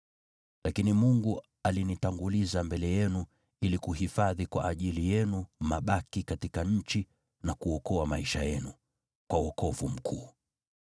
Lakini Mungu alinitanguliza mbele yenu ili kuhifadhi mabaki kwa ajili yenu katika nchi, na kuokoa maisha yenu kwa wokovu mkuu.